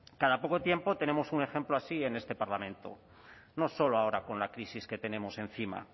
cada poco tiempo tenemos un ejemplo así en este parlamento no solo ahora con la crisis que tenemos encima